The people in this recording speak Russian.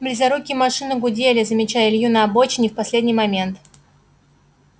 близорукие машины гудели замечая илью на обочине в последний момент